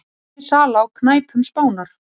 Minni sala á knæpum Spánar